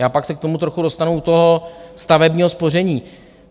Já se pak k tomu trochu dostanu u toho stavebního spoření.